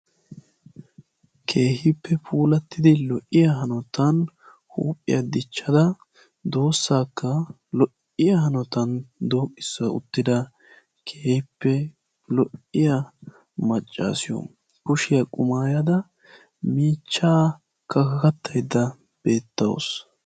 Keehippe puulatti lo'iya hanotan huuphiya dichchada doossaakka lo'iya hanotan sooqissa uttida keehippe lo'iya maccaasiyo. Kushiya qumayada miichchaa kakakattayidda dawusu.